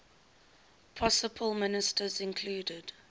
possible ministers included